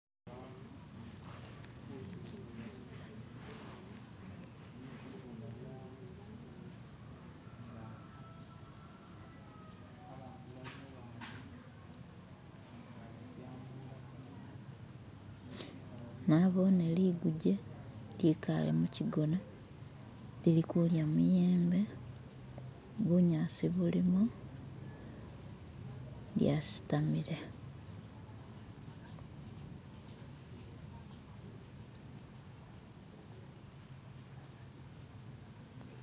nabone liguje likale mukigona lilikulya muyembe bunyasi bulimo lyasitamile